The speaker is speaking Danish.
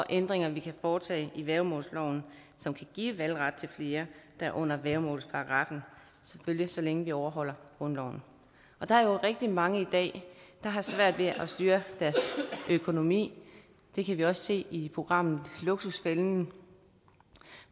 ændringer vi kan foretage i værgemålsloven som kan give valgret til flere der er under værgemålsparagraffen selvfølgelig så længe vi overholder grundloven der er jo rigtig mange i dag der har svært ved at styre deres økonomi det kan vi også se i programmet luksusfælden